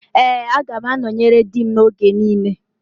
Ee, aga m anọnyere di m oge niile